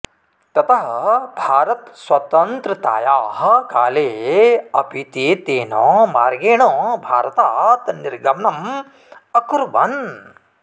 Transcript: ततः भारतस्वतन्त्रतायाः काले अपि ते तेन मार्गेण भारतात् निर्गमनम् अकुर्वन्